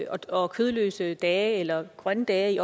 og kødløse dage eller grønne dage i